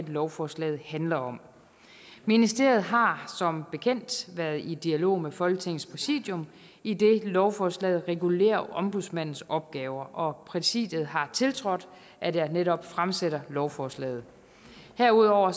lovforslaget handler om ministerier har som bekendt været i dialog med folketingets præsidium idet lovforslaget regulerer ombudsmandens opgaver præsidiet har tiltrådt at jeg netop fremsætter lovforslaget herudover